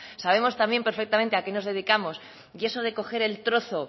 sabemos tan bien perfectamente a qué nos dedicamos y eso de coger el trozo